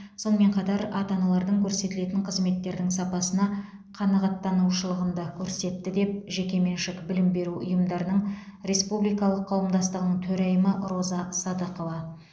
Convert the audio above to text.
сонымен қатар ата аналардың көрсетілетін қызметтердің сапасына қанағаттанушылығын да көрсетті деді жекеменшік білім беру ұйымдарының республикалық қауымдастығының төрайымы роза садықова